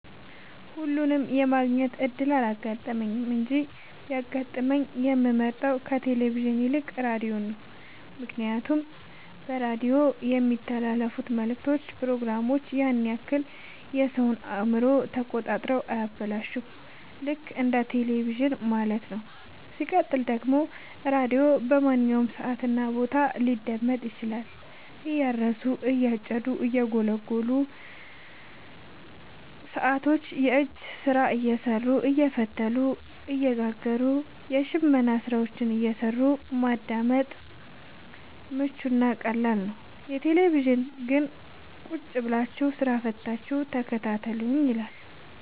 ሁለቱንም የማግኘት እድል አላጋጠመኝም እንጂ ቢያጋጥመኝ የምመርጠው ከቴሌቪዥን ይልቅ ራዲዮን ነው ምክንያቱም በራዲዮ የሚተላለፍት መልክቶች ፕሮግራሞች ያን ያክል የሰወን አእምሮ ተቆጣጥረው አያበላሹም ልክ እንደ በቴለቪዥን ማለት ነው። ሲቀጥል ደግሞ ራዲዮ በማንኛውም ሰዓት እና ቦታ ሊደመጥ ይችላል። እያረሱ የጨዱ እየጎሉ ሰቶች የእጅ ስራ እየሰሩ አየፈተሉ እየጋገሩም የሽመና ስራዎችን እየሰሩ ለማዳመጥ ምቹ እና ቀላል ነው። የቴሌቪዥን ግን ቁጭብላችሁ ስራ ፈታችሁ ተከታተሉኝ ይላል።